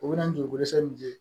U bɛna n jogo san min ye